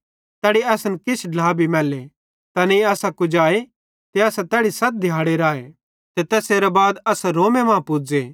तैड़ी असन किछ ढ्ला भी मैल्ले तैनेईं असां कुजाए ते असां तैड़ी सत दिहाड़े राए ते तैसेरां बाद असां रोमे मां पुज़े